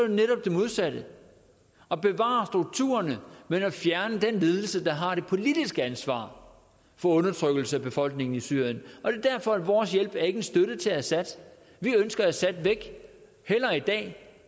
netop det modsatte at bevare strukturerne men at fjerne den ledelse der har det politiske ansvar for undertrykkelse af befolkningen i syrien er derfor at vores hjælp ikke er en støtte til assad vi ønsker assad væk hellere i dag